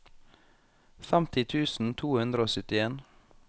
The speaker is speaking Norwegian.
femti tusen to hundre og syttien